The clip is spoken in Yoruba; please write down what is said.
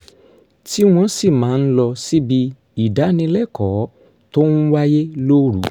tí wọ́n sì máa ń lọ síbi ìdánilẹ́kọ̀ọ́ tó ń wáyé lóru